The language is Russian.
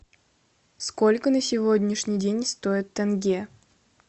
сколько на сегодняшний день стоит тенге